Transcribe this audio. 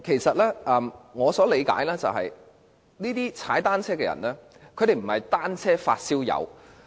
據我理解，這些騎單車人士並非單車"發燒友"。